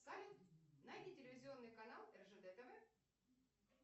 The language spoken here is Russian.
салют найди телевизионный канал ржд тв